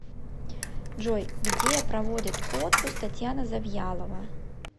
джой где проводит отпуск татьяна завьялова